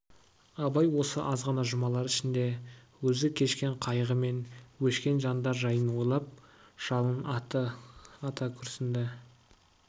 абай осы азғана жұмалар ішінде өзі кешкен қайғы мен өшкен жандар жайын ойлап жалын ата күрсінді